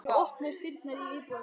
Nú opnuðust dyrnar inn í íbúðina.